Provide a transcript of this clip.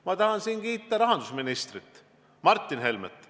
Ma tahan siin kiita rahandusminister Martin Helmet.